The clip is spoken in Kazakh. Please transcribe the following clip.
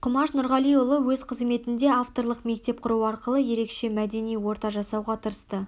құмаш нұрғалиұлы өз қызметінде авторлық мектеп құру арқылы ерекше мәдени орта жасауға тырысты